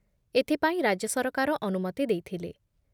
ଏଥିପାଇଁ ରାଜ୍ୟ ସରକାର ଅନୁମତି ଦେଇଥିଲେ